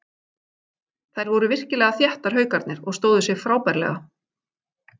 Þær voru virkilega þéttar Haukarnir og stóðu sig frábærlega.